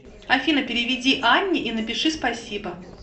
афина переведи анне и напиши спасибо